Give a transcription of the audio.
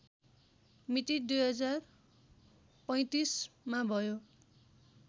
मिति २०३५मा भयो